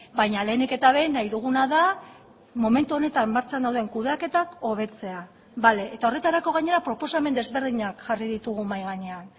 baina lehenik eta behin nahi duguna da momentu honetan martxan dauden kudeaketak hobetzea bale eta horretarako gainera proposamen desberdinak jarri ditugu mahai gainean